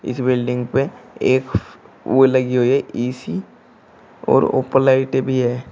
इस बिल्डिंग पे एक वो लगी हुई है इसी और ऊपर लाइटे भी है।